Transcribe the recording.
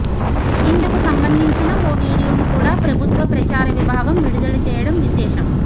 ఇందుకు సంబంధించిన ఓ వీడియోను కూడా ప్రభుత్వ ప్రచార విభాగం విడుదల చేయడం విశేషం